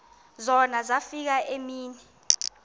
zona zafika iimini